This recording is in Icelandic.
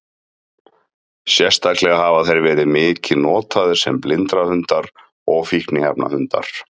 Sérstaklega hafa þeir verið mikið notaðir sem blindrahundar og fíkniefnahundar.